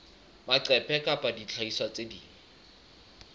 maqephe kapa dihlahiswa tse ding